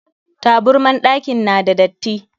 Taburman ɗakin na da datti.